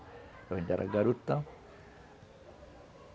Eu ainda era garotão.